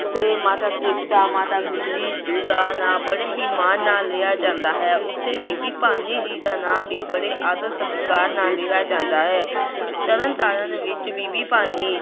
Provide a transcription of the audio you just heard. ਜਿੱਥੇ ਮਾਤਾ ਤ੍ਰਿਪਤਾ, ਮਾਤਾ ਗੁਜ਼ਰੀ ਦਾ ਨਾਂ ਬੜੇ ਹੀ ਮਾਣ ਨਾਲ ਲਿਆ ਜਾਂਦਾ ਹੈ, ਉੱਥੇ ਬੀਬੀ ਭਾਨੀ ਜੀ ਦਾ ਨਾਂ ਵੀ ਬੜੇ ਆਦਰ ਸਤਿਕਾਰ ਨਾਲ ਲਿਆ ਜਾਂਦਾ ਹੈ ਤਰਨ ਤਾਰਨ ਵਿੱਚ ਬੀਬੀ ਭਾਨੀ